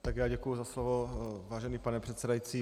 Tak já děkuji za slovo, vážený pane předsedající.